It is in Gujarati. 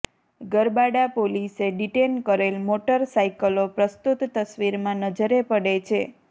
ગરબાડા પોલીસે ડિટેન કરેલ મોટર સાઇકલો પ્રસ્તુત તસવીરમાં નજરે પડે છે